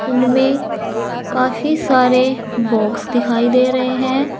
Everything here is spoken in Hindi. उनमें काफी सारे बॉक्स दिखाई दे रहे हैं।